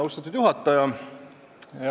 Austatud juhataja!